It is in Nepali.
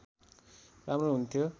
राम्रो हुन्थ्यो